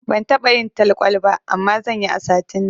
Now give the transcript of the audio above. Ban taɓa yin talkwal ba, amma zanyi a satin nan.